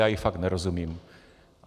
Já jí fakt nerozumím.